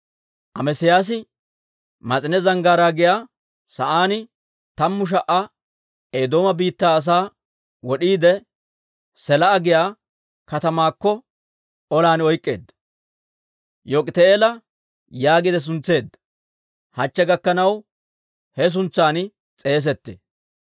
Amesiyaasi Mas'ine Zanggaaraa giyaa sa'aan tammu sha"a Eedooma biittaa asaa wod'iide Selaa'a giyaa katamaakka olan oyk'k'eedda. Yok'iti'eela yaagiide suntseedda; hachche gakkanaw ha suntsan s'eesettee.